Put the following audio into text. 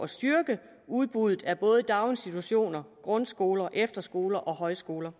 styrke udbuddet af både daginstitutioner grundskoler efterskoler og højskoler